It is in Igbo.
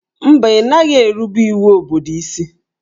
Mba, ị naghị erubere iwu obodo isi